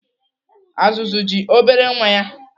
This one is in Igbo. Azụzụ ji obere nwa ya.